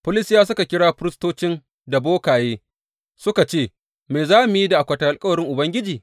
Filistiyawa suka kira firistoci da bokaye suka ce, Me za mu yi da akwatin alkawarin Ubangiji?